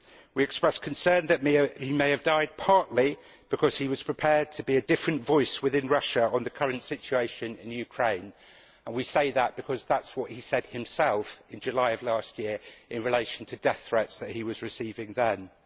We express concern that he may have died partly because he was prepared to be a different voice within Russia on the current situation in Ukraine. We say that because that is what he said himself in July last year in relation to death threats that he was receiving then.